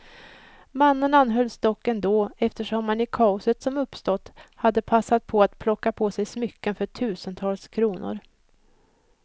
Mannen anhölls dock ändå, eftersom han i kaoset som uppstått hade passat på att plocka på sig smycken för tusentals kronor.